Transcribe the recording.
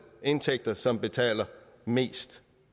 indtægter som betaler mest